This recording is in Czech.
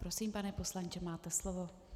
Prosím, pane poslanče, máte slovo.